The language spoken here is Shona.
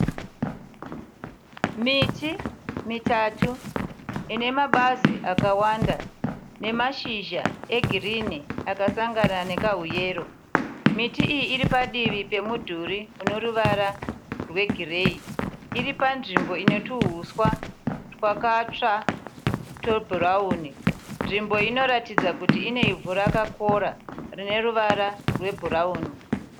Miti mitatu ine mabazi akawanda nemashizha egirini akasangana nekahu yero. Miti iyi iri padivi pemudhuri une ruvara rwegireyi. Iri panzvimbo ine tuhuswa twakatsva twebhurauni. Nzvimbo inoratidza kuti ine ivhu rakakora rine ruvara rwebhurauni.